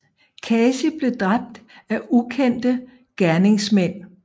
Kasi blev dræbt af ukendte gerningsmænd